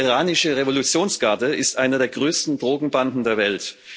Die iranische Revolutionsgarde ist eine der größten Drogenbanden der Welt.